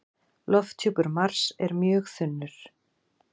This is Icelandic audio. Lofthjúpur Mars er mjög þunnur.